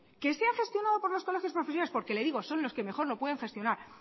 que sea gestionado por los colegios profesionales porque le digo son los que mejor lo pueden gestionar